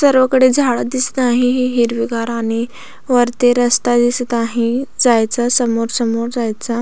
सर्वकडे झाड दिसत आहे हे हिरवीगार आणि वरती रस्ता दिसत आहे जायचा समोर समोर जायचा.